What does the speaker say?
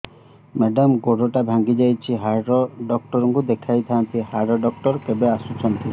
madam ଗୋଡ ଟା ଭାଙ୍ଗି ଯାଇଛି ହାଡ ଡକ୍ଟର ଙ୍କୁ ଦେଖାଇ ଥାଆନ୍ତି ହାଡ ଡକ୍ଟର କେବେ ଆସୁଛନ୍ତି